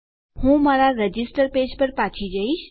હું મારા register page પર પાછી જઈશ